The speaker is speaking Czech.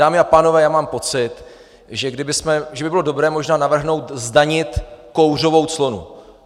Dámy a pánové, já mám pocit, že by bylo dobré možná navrhnout zdanit kouřovou clonu.